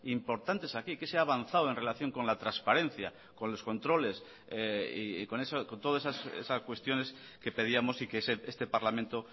importantes aquí qué se ha avanzado en relación con la transparencia con los controles y con todas esas cuestiones que pedíamos y que este parlamento